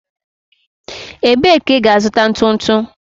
Ebee ka ị ga-azụta ntu ntu?